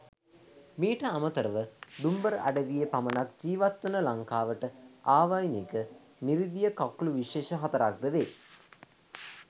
මීට අමතර ව දුම්බර අඩවියේ පමණක් ජීවත් වන ලංකාවට ආවේණික මිරිදිය කකුළු විශේෂ හතරක් ද වේ.